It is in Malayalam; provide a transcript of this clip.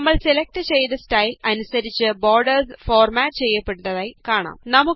നമ്മള് സെലക്ട് ചെയ്ത സ്റ്റൈല് അനുസരിച്ച് ബോര്ഡേര്സ് ഫോര്മാറ്റ് ചെയ്യപ്പെട്ടതായി കാണാം